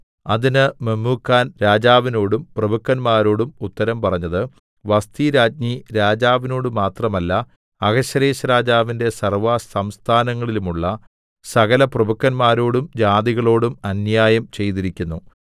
അതിന് മെമൂഖാൻ രാജാവിനോടും പ്രഭുക്കന്മാരോടും ഉത്തരം പറഞ്ഞത് വസ്ഥിരാജ്ഞി രാജാവിനോടുമാത്രമല്ല അഹശ്വേരോശ്‌രാജാവിന്റെ സർവ്വസംസ്ഥാനങ്ങളിലുള്ള സകലപ്രഭുക്കന്മാരോടും ജാതികളോടും അന്യായം ചെയ്തിരിക്കുന്നു